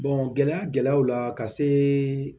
gɛlɛya gɛlɛyaw la ka se